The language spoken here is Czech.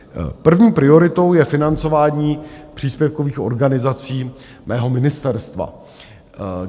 První prioritou je financování příspěvkových organizací mého ministerstva.